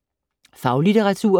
Faglitteratur